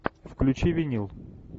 включи винил